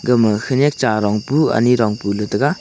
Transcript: gama khanyak charong pu anyi rong pu taiga.